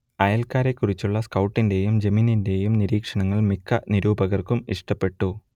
അയൽക്കാരെക്കുറിച്ചുള്ള സ്കൗട്ടിന്റെയും ജെമിനിന്റെയും നിരീക്ഷണങ്ങൾ മിക്ക നിരൂപകർക്കും ഇഷ്ടപ്പെട്ടു